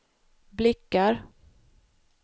blickar